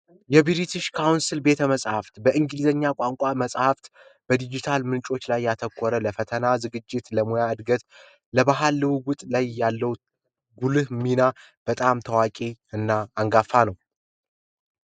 የብርቲሽ ካውንሲል ቤተ መጻሕፍት በእንግሊዝኛ ቋንቋ መጻሕፍት በዲጅታል ምንጮች ላይ ያተኮረ ለፈተና ዝግጅት ለሙያ እድገት ለባህል ልውውጥ ያለው ጉልህ ሚና በጣም ታዋቂ እና አንጋፋ ነው።